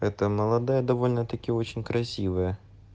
это молодая довольно-таки очень красивая